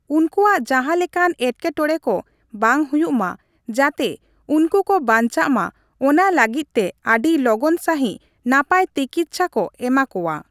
ᱩᱱᱠᱩᱣᱟᱜ ᱡᱟᱦᱟᱸ ᱞᱮᱠᱟᱱ ᱮᱴᱠᱮᱴᱚᱲᱮ ᱠᱚ ᱵᱟᱝ ᱦᱩᱭᱩᱜ ᱢᱟ ᱾ ᱡᱟᱛᱮ ᱩᱱᱠᱩ ᱠᱚ ᱵᱟᱧᱪᱟᱜ ᱢᱟ ᱚᱱᱟ ᱞᱟᱹᱜᱤᱫ ᱛᱮ ᱟᱹᱰᱤ ᱞᱚᱜᱚᱱ ᱥᱟᱺᱦᱤᱡ ᱱᱟᱯᱟᱭ ᱛᱤᱠᱤᱪᱷᱟ ᱠᱚ ᱮᱢᱟ ᱠᱚᱣᱟ ᱾